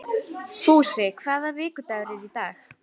Fúsi, hvaða vikudagur er í dag?